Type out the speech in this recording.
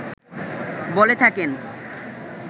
বলে থাকেন